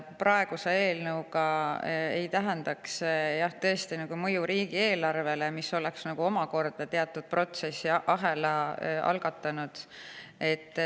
Praeguse eelnõu kohaselt ei tähendaks see tõesti säärast mõju riigieelarvele, mis oleks teatud protsessiahela algatanud.